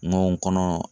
N ko n kɔnɔ